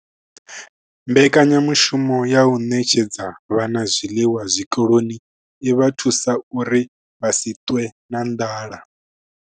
Mbekanya ushumo ya u ṋetshedza vhana zwiḽiwa zwikoloni i vha thusa uri vha si ṱwe na nḓala.